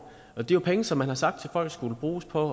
og det er jo penge som man har sagt til folk skulle bruges på